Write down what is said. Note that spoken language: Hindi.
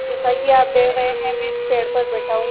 जैसा कि आप देख रहे हैं मैं इस पेड़ पर बैठा हूँ